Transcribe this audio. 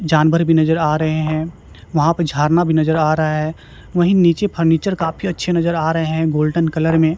जानवर भी नजर आ रहे हैं वहां पे झरना भी नजर आ रहा है वहीं नीचे फर्नीचर काफी अच्छे नजर आ रहे हैं गोल्डन कलर में--